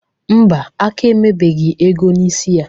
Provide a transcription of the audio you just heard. Ḿbà, aka emebeghi ego n'isi ya.